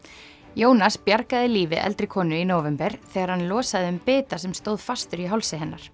Jónas bjargaði lífi eldri konu í nóvember þegar hann losaði um bita sem stóð fastur í hálsi hennar